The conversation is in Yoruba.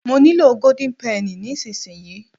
mo nilo golden penny nisinsinyi